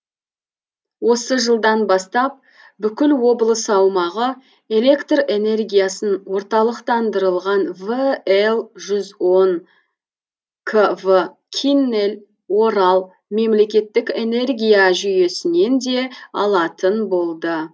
осы жылдан бастап бүкіл облыс аумағы электр энергиясын орталықтандырылған вл жүз он кв киннель орал мемлекеттік энергия жүйесінен де алатын болды